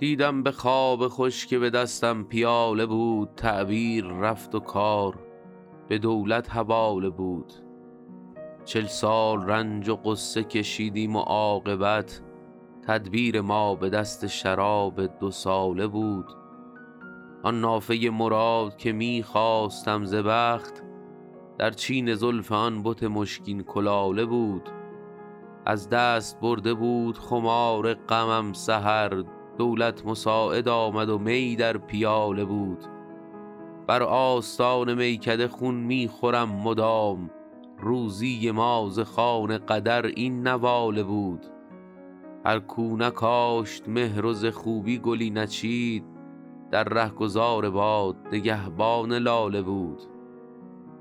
دیدم به خواب خوش که به دستم پیاله بود تعبیر رفت و کار به دولت حواله بود چل سال رنج و غصه کشیدیم و عاقبت تدبیر ما به دست شراب دوساله بود آن نافه مراد که می خواستم ز بخت در چین زلف آن بت مشکین کلاله بود از دست برده بود خمار غمم سحر دولت مساعد آمد و می در پیاله بود بر آستان میکده خون می خورم مدام روزی ما ز خوان قدر این نواله بود هر کو نکاشت مهر و ز خوبی گلی نچید در رهگذار باد نگهبان لاله بود